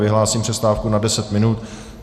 Vyhlásím přestávku na deset minut.